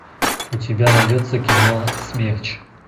у тебя найдется кино смерч